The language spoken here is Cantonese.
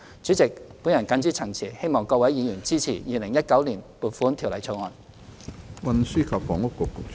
主席，我謹此陳辭，懇請議員支持《2019年撥款條例草案》。